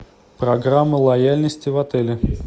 программа лояльности в отеле